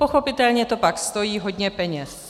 Pochopitelně to pak stojí hodně peněz.